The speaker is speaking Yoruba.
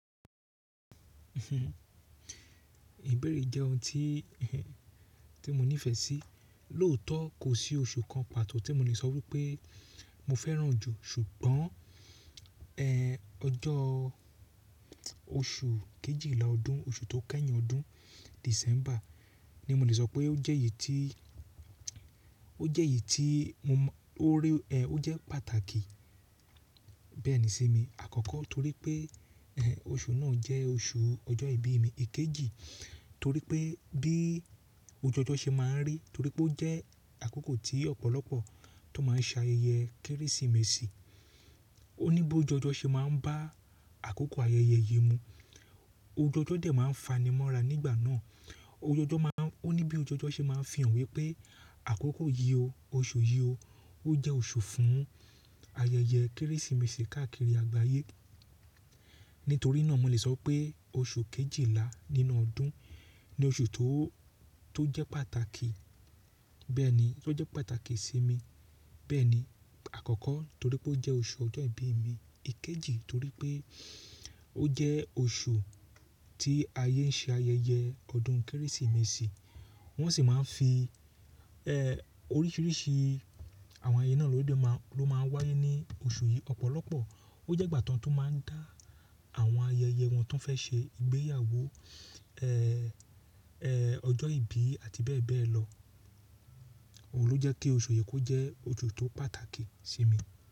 Ìbéèrè jẹ́ ohun tí mo nífẹ̀ẹ́ sí. Lóòótọ́ kò sí oṣù kan pàtó tí mo lè sọ wípé mo fẹ́ràn jù. Ṣùgbọ́n, ọjọ́ oṣù kejìlá ọdún, oṣù tó kẹ́yìn ọdún. December ni mo lè sọ pé ó jẹ́ èyí tí, ó jẹ́ èyí tí mo mọ, ó rí, ó jẹ́ pàtàkì bẹ́ẹ̀ ní sí mi. Àkọ́kọ́ torí pé, oṣù náà jẹ́ oṣù ọjọ́ ìbí mi. Èkejì torí pé bí òjuojọ́ ṣe máa ń rí, torí pé ó jẹ́ àkókò tí ọ̀pọ̀lọpọ̀ tó máa ń ṣe ayẹyẹ Kérésìmesì. Ó ní bí òjuòjọ́ ṣe máa ń bá àkókò ayẹyẹ yìí mu. Òjuòjọ́ dẹ̀ máa ń fanimọ́ra nígbà náà. Òujòjọ́ máa ń, ó ní bí òjuòjọ́ ṣe máa ń fi hàn wípé àkókò yìí o, oṣù yìí o, ó jẹ́ oṣù fún ayẹyẹ Kérésìmesì káàkiri àgbáyé. Nítorí náà mo lè sọ pé oṣù kejìlá nínú ọdún ni oṣù tó, tó jẹ́ pàtàkì. Bẹ́ẹ̀ ni, tó jẹ́ pàtàkì sí mi. Bẹ́ẹ̀ ni, àkọ́kọ́ torí pé ó jẹ́ oṣù ọjọ́ ìbí mi. Èkejì torí pé ó jẹ́ oṣù tí ayé ń ṣe ayẹyẹ ọdún Kérésìmesì. Wọ́n sì máa ń fi, oríṣiríṣi àwọn ayẹyẹ náà ló dé máa, ló máa ń wáyé ní oṣù yìí. Ọ̀pọ̀lọpọ̀ ó jẹ́ ìgbà tán tó máa ń dá àwọn ayẹyẹ wọn tó fẹ́ ṣe ìgbéyàwó, ọjọ́ ìbí àti bẹ́ẹ̀ bẹ́ẹ̀ lọ. Òun ló jẹ́ kí oṣù yìí kó jẹ́ oṣù tó pàtàkì sí mi.